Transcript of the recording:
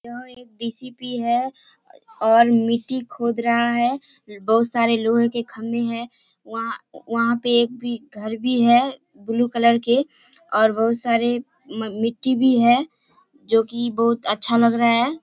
यहाँ एक डी.सी.पी. है और मिट्टी खोद रहा है बहुत सारे लोहे के खम्बे हैं वहाँ वहाँ पे एक भी घर भी है ब्लू कलर के और बहुत सारे मिट्टी भी है जो की बहुत अच्छा लग रहा है।